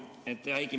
Hea Heiki!